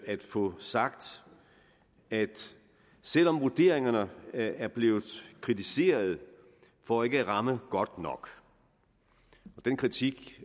at få sagt at selv om vurderingerne er blevet kritiseret for ikke at ramme godt nok og den kritik